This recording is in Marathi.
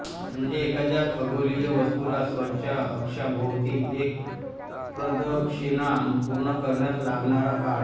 म्हणजे एखाद्या खगोलीय वस्तूला स्वतःच्या अक्षाभोवती एक प्रदक्षिणा पूर्ण करण्यास लागणारा काळ